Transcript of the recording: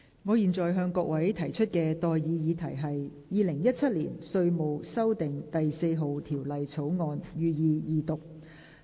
我現在向各位提出的待議議題是：《2017年稅務條例草案》，予以二讀。